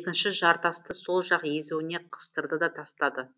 екінші жартасты сол жақ езуіне қыстырды да тастады